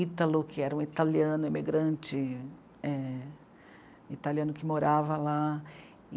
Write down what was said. Ítalo, que era um italiano, imigrante... é... italiano que morava lá.